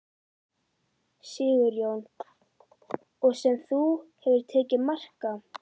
Sigurjón: Og sem þú hefur tekið mark á?